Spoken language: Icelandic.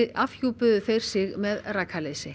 afhjúpuðu þeir sig með